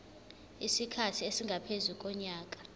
isikhathi esingaphezu konyaka